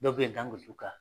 Dɔ bɛ ye n kan